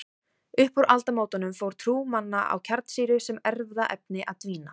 Upp úr aldamótunum fór trú manna á kjarnsýru sem erfðaefni að dvína.